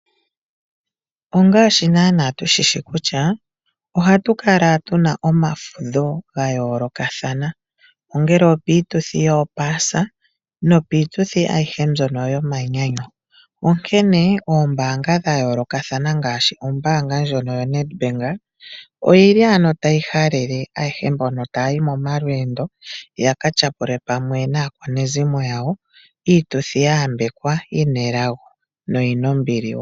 Ongaashi naana tushi shi kutya ohatu kala tuna omafudho ga yoolokathana, ongele opiituthi yopaasa nopiituthi ayihe mbyono yomanyanyu. Onkene oombaanga dha yoolokathana ngaashi ombaanga ndjono yoNedbank oyi li ano tayi halele ayehe mbono taya yi mo malweendo yaka tyapule pamwe naakwanezimo lyawo iituthi ya yambekwa yi na elago na oyi na ombili woo.